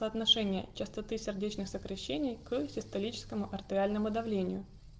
по отношению частоты сердечных сокращений крови к систолическом артериальному давлению